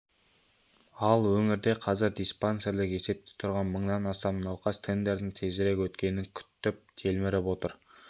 ал өңірде қазір диспансерлік есепте тұрған мыңнан астам науқас тендердің тезірек өткенін күтіп телміріп отыр